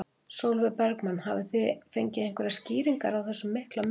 Sólveig Bergmann: Hafið þið fengið einhverjar skýringar á þessum mikla mun?